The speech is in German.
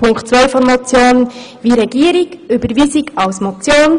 In Punkt zwei befürworten wir ebenfalls wie die Regierung die Überweisung als Motion.